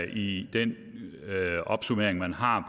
i den opsummering man har